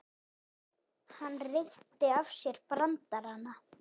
Hann reytti af sér brandarana.